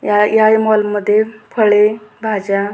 या या मॉल मध्ये फळे भाज्या --